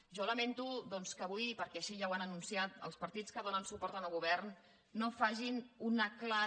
jo lamento doncs que avui perquè així ja ho han anunciat els partits que donen suport al govern no facin una clara